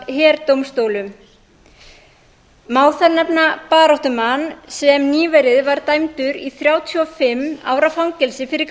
af herdómstólum má þar nefna baráttumann sem nýverið var dæmdur í þrjátíu og fimm ára fangelsi fyrir